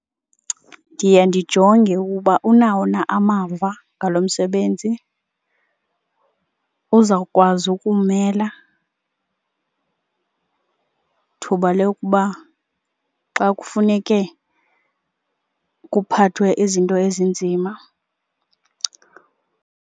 Ndiye ndijonge uba unawo na amava ngalo msebenzi, uzawukwazi ukuwumela thuba lokuba xa kufuneke kuphathwe izinto ezinzima.